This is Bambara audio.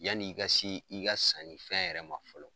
Yanni i ka si i ka sanni fɛn yɛrɛ ma fɔlɔ